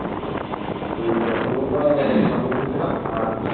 ওই রসগোল্লা সন্দেশ এনেছিলাম আর হচ্ছে